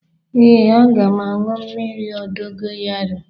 Ee, aga m aṅụ mmiri dogoyaro